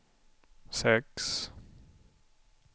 sex